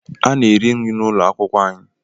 A na-ere nri n’ụlọ akwụkwọ anyị